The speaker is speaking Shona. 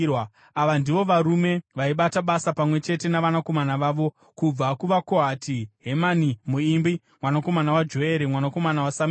Ava ndivo varume vaibata basa pamwe chete navanakomana vavo: kubva kuvaKohati: Hemani muimbi, mwanakomana waJoere, mwanakomana waSamueri,